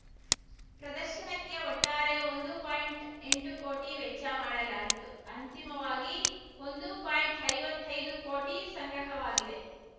ಪ್ರದರ್ಶನಕ್ಕೆ ಒಟ್ಟಾರೆ ಒಂದು ಪಾಯಿಂಟ್ಎಂಟು ಕೋಟಿ ವೆಚ್ಚ ಮಾಡಲಾಗಿತ್ತು ಅಂತಿಮವಾಗಿ ಒಂದು ಪಾಯಿಂಟ್ಐವತ್ತೈದು ಕೋಟಿ ಸಂಗ್ರಹವಾಗಿದೆ